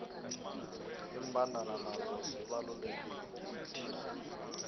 imbandana nazo zibalulekile kithi